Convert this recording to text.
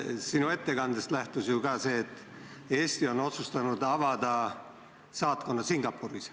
Sinu ettekandes kõlas ka see, et Eesti on otsustanud avada saatkonna Singapuris.